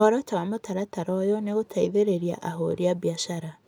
Muoroto wa mũtaratara ũyũ nĩ gũteithĩrĩria ahũri biacara.